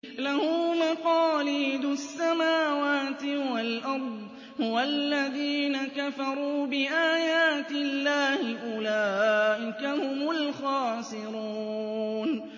لَّهُ مَقَالِيدُ السَّمَاوَاتِ وَالْأَرْضِ ۗ وَالَّذِينَ كَفَرُوا بِآيَاتِ اللَّهِ أُولَٰئِكَ هُمُ الْخَاسِرُونَ